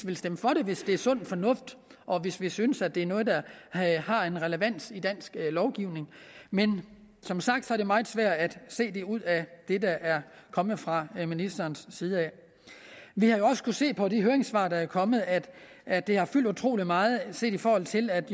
vil stemme for det hvis det er sund fornuft og hvis vi synes at det er noget der har en relevans i dansk lovgivning men som sagt er det meget svært at se det ud af det der er kommet fra ministerens side vi har jo også kunnet se på de høringssvar der er kommet at at det har fyldt utrolig meget set i forhold til at